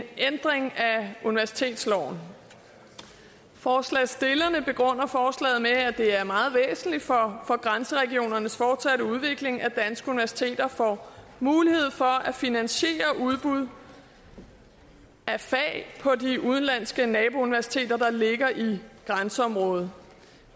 en ændring af universitetsloven forslagsstillerne begrunder forslaget med at det er meget væsentligt for grænseregionernes fortsatte udvikling at danske universiteter får mulighed for at finansiere udbud af fag på de udenlandske nabouniversiteter der ligger i grænseområdet